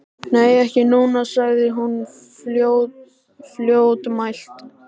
Nei, ekki núna, sagði hún fljótmælt.